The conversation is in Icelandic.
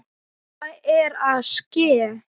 Hvað er að ske?